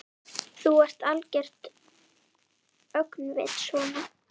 Þú ert algert öngvit svona!